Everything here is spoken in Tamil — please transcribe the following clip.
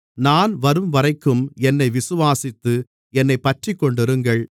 நான் வரும்வரைக்கும் என்னை விசுவாசித்து என்னைப் பற்றிக்கொண்டிருங்கள்